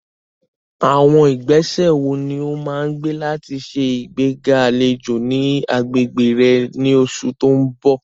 Àwọn ìgbésẹ̀ wo ni o máa gbé láti ṣe ìgbéga àlejò ní agbègbè rẹ ní oṣù tó ń bọ̀?